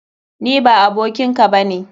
Ni ba abokin ka ba ne!